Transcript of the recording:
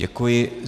Děkuji.